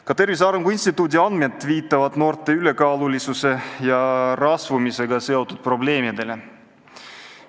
Ka Tervise Arengu Instituudi andmed viitavad noorte ülekaalulisuse ja rasvumisega seotud probleemidele.